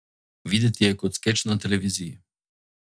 Videti je kot skeč na televiziji.